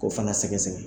K'o fana sɛgɛsɛgɛ